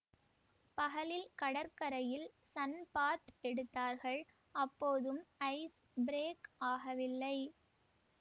பகலில் கடற்கரையில் சன்பாத் எடுத்தார்கள் அப்போதும் ஐஸ் பிரேக் ஆகவில்லை